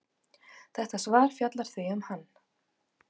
Þetta svar fjallar því um hann.